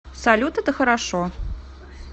салют это хорошо